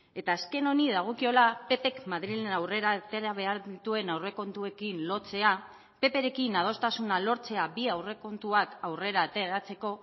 eta azken honi dagokiola ppk madrilen aurrera atera behar dituen aurrekontuekin lotzea pprekin adostasuna lortzea bi aurrekontuak aurrera ateratzeko